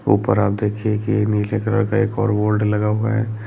ऊपर आप देखिये की एक नीले कलर का एक और बोल्ड लगा हुआ है।